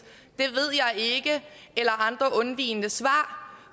det andre undvigende svar